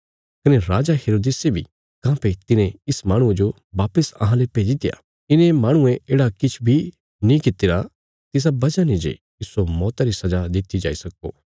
कने राजा हेरोदेस बी काँह्भई तिने इस माहणुये जो वापस अहांले भेजीत्या इने माहणुये येढ़ा किछ बी नीं कित्तिरा तिसा वजह ने जे इस्सो मौता री सजा दित्ति जाई सक्को